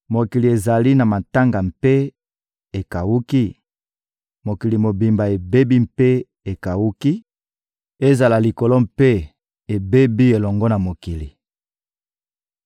Mokili ezali na matanga mpe ekawuki, mokili mobimba ebebi mpe ekawuki; ezala likolo mpe ebebi elongo na mokili!